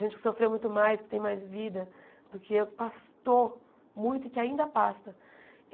Gente que sofreu muito mais, que tem mais vida do que eu, que pastou muito e que ainda pasta.